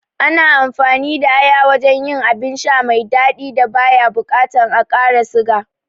Ana amfani da aya wajen yin abin sha mai daɗi da baya bukatan a ƙara siga